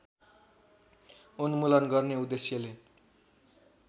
उन्मूलन गर्ने उद्देश्यले